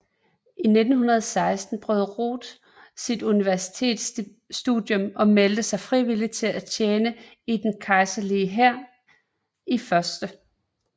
I 1916 afbrød Roth sit universitetsstudium og meldte sig frivilligt for at tjene i den kejserlige hær i 1